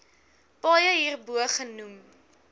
paaie hierbo genoem